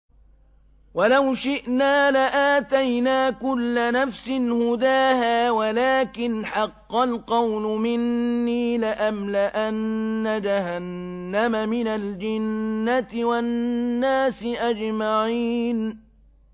وَلَوْ شِئْنَا لَآتَيْنَا كُلَّ نَفْسٍ هُدَاهَا وَلَٰكِنْ حَقَّ الْقَوْلُ مِنِّي لَأَمْلَأَنَّ جَهَنَّمَ مِنَ الْجِنَّةِ وَالنَّاسِ أَجْمَعِينَ